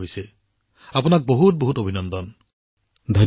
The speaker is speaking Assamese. ফাইন মোৰ ফালৰ পৰা আপোনাক বহুত অভিনন্দন